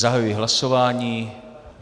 Zahajuji hlasování.